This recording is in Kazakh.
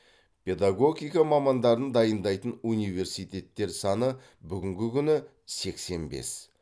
педагогика мамандарын дайындайтын университеттер саны бүгінгі күні сексен бес